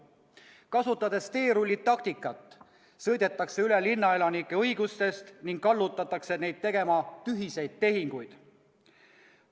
Kasutades teerullitaktikat, sõidetakse üle linnaelanike õigustest ning kallutatakse neid tegema tühiseid tehinguid.